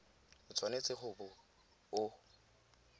o tshwanetse go bo o